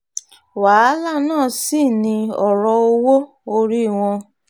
wàhálà náà sì ni ọ̀rọ̀ owó-orí wọn um